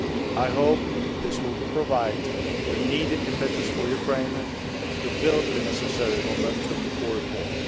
I hope this will provide the needed impetus for Ukraine to build the necessary momentum for reform.